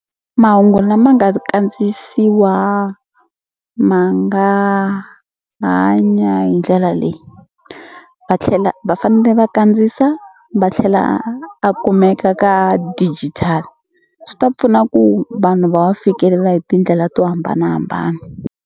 Mahungu lama nga ri kandziyisiwa ma nga hanya hi ndlela leyi va tlhela va fanele va kandziyisa va tlhela a kumeka ka digital swi ta pfuna ku vanhu va fikelela hi tindlela to hambanahambana.